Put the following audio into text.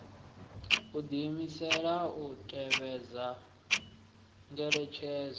u diimisela u tevhedza ngeletshedzo